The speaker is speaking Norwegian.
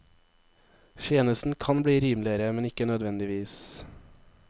Tjenesten kan bli rimeligere, men ikke nødvendigvis.